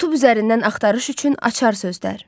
Youtube üzərindən axtarış üçün açar sözlər.